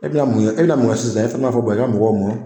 E bɛna mun ye e bɛna mun kɛ sisan e fana b'a fɔ i ka mɔgɔw ma